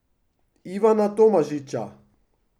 Ivana Tomažiča.